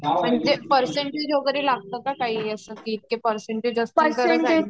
percentage वगेरे लागत का काही अस